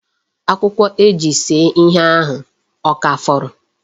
Akwụkwọ e ji see ihe ahụ ọ ka fọrọ?